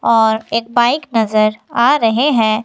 और एक बाइक नजर आ रहे हैं।